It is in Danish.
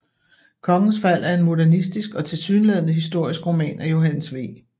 Kongens Fald er en modernistisk og tilsyneladende historisk roman af Johannes V